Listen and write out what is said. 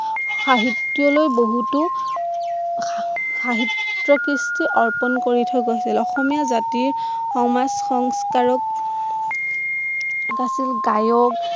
সাহিত্যলৈ বহুতো সাহিত্য কৃষ্টি অৰ্পণ কৰি থৈ গৈছিল অসমীয়া জাতিৰ সমাজ সংস্কাৰক গায়ক